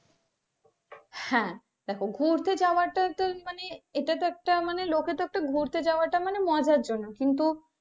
হ্যাঁ দেখো ঘুরতে যাওয়াটা তো মানে এটা তো একটা তো লোকেদের ঘুরতে যাওয়াটা তো মজার জন্য কিন্তু।